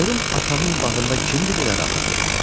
Görüm atamın bağında kimdi belə rahat yatıb?"